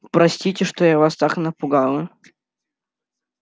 простите что я вас так напугала